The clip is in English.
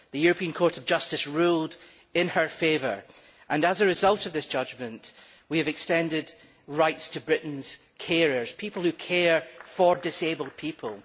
The European Court of Justice ruled in her favour and, as a result of this judgement, we have extended rights to Britain's carers people who care for disabled people.